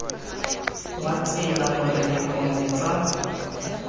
wa tsela gore dipone tsa